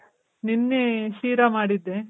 ನೆನ್ನೆ ಸೀರಾ ಮಾಡಿದ್ದೆ.